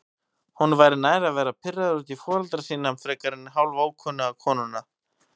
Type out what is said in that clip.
Honum væri nær að vera pirraður út í foreldra sína frekar en hálfókunnuga konuna.